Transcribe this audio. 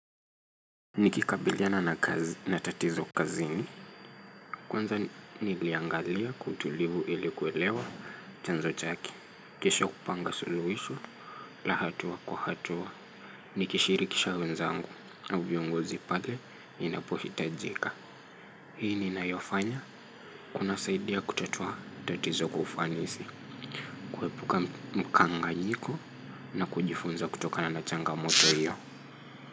Nikikabiliana na tatizo kazini Kwanza niliangalia kwa utulivu ilikuwelewa chanzo chake kesho kupanga suluhisho la hatua kwa hatua Nikishirikisha wenzangu au viongozi pale inapohitajika Hii ni nayofanya Kuna saidia kutatua tatizo kwa ufanisi kuepuka mkanganyiko na kujifunza kutokana na changamoto hiyo.